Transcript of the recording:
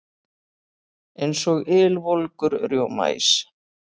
Eins og ylvolgur rjómaís.